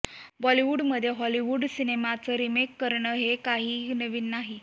बॉलिवूडमध्ये हॉलिवूड सिनेमांचं रिमेक करणं हे काही नवीन नाही